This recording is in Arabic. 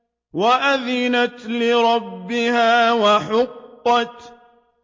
وَأَذِنَتْ لِرَبِّهَا وَحُقَّتْ